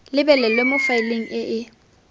lebelelwe mo faeleng e e